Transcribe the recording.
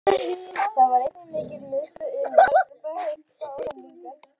Þar var einnig mikil miðstöð iðnaðar, mennta og menningar.